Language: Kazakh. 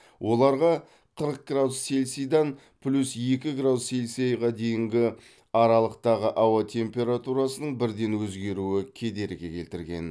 оларға қырық градус цельсидан плюс екі градус цельсиға дейінгі аралықтағы ауа температурасының бірден өзгеруі кедергі келтірген